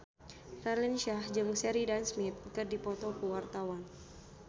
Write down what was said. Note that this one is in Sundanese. Raline Shah jeung Sheridan Smith keur dipoto ku wartawan